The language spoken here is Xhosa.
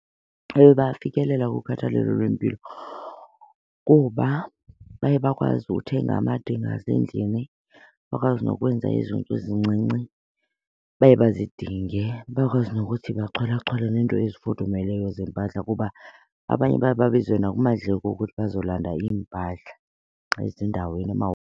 Ewe, bayafikelela kukhathalelo lwempilo kuba baye bakwazi uthenga amadinga asendlini, bakwazi nokwenza ezo nto zincinci baye bazidinge. Bakwazi nokuthi bacholachole neento ezifudumeleyo zempahla kuba abanye baye babizwe nakumadleko ukuthi bazolanda iimpahla ezindaweni .